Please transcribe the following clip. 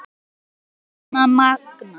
Er það býsna magnað.